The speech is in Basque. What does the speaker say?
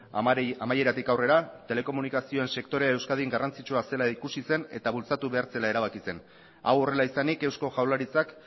amaieratik aurrera telekomunikazioen sektorea euskadin garrantzitsua zela ikusi zen eta bultzatu behar zela erabaki zen hau horrela izanik eusko jaurlaritzak